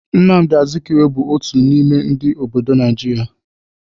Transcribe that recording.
Nnamdi Azikiwe bụ otu n'ime ndị obodo Naijiria.